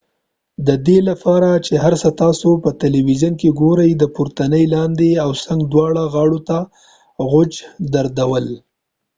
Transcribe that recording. د دې دلیل لپاره چې هر څه تاسو په تيليويزون کې ګورئ د پورتنۍ لاندې او څنګ دواړو غاړو ته غوڅ درلودل